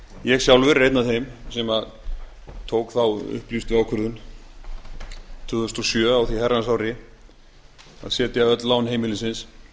ég sjálfur er einn af þeim sem tók þá upplýstu ákvörðun tvö þúsund og sjö á því herrans ári að setja öll lán heimilisins